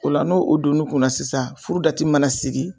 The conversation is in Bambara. O la n'o o donna u kunna sisan furu mana sigi